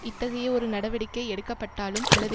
இத்தகைய ஒரு நடவடிக்கை எடுக்கப்பட்டாலும் அல்லது